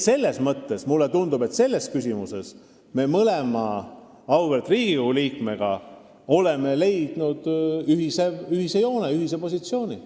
Seega, mulle tundub, et selles küsimuses me oleme mõlema auväärt Riigikogu liikmega leidnud ühise joone, ühise positsiooni.